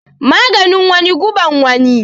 Maganin wani guban wani